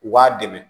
U b'a dɛmɛ